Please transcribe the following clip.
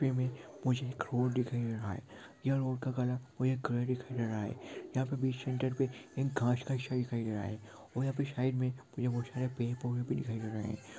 पे में मुझे एक रोड दिखाई दे रहा है यह रोड का कलर मुझे ग्रे दिखाई दे रहा है यहाँ पे बीच सेंटर पे एक घास का दिखाई दे रहा है और यहाँ पे साइड में मुझे बहोत सारे पेड़ - पौधे भी दिखाई दे रहे हैं।